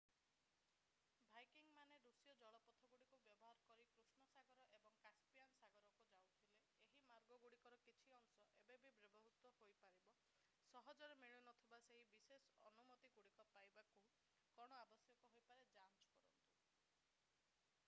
ଭାଇକିଙ୍ଗମାନେ ଋଷୀୟ ଜଳପଥଗୁଡ଼ିକୁ ବ୍ୟବହାର କରି କୃଷ୍ଣ ସାଗର ଏବଂ କାସପିଆନ୍ ସାଗରକୁ ଯାଉଥିଲେ ଏହି ମାର୍ଗଗୁଡ଼ିକର କିଛି ଅଂଶ ଏବେ ବି ବ୍ୟବହୃତ ହୋଇପାରିବ ସହଜରେ ମିଳୁନଥିବା ସେହି ବିଶେଷ ଅନୁମତିଗୁଡ଼ିକ ପାଇବାକୁ କ'ଣ ଆବଶ୍ୟକ ହୋଇପାରେ ଯାଞ୍ଚ କରନ୍ତୁ